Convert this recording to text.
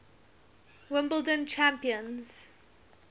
wimbledon champions